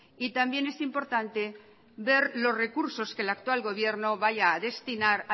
y también es importante ver los recursos que el actual gobierno vaya a destinar